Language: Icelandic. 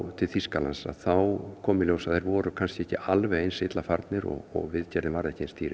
til Þýskalands þá kom í ljós að þeir voru kannski ekki alveg eins illa farnir og viðgerðin var ekki eins dýr